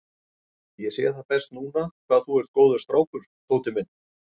Ég sé það best núna hvað þú ert góður strákur, Tóti minn.